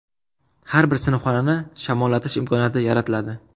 Har bir sinfxonani shamollatish imkoniyati yaratiladi.